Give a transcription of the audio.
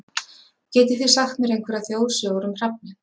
Getið þið sagt mér einhverjar þjóðsögur um hrafninn?